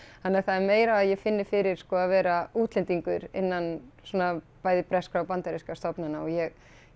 þannig að það er meira að ég finni fyrir sko að vera útlendingur innan svona bæði breskra og bandarískra stofnana og ég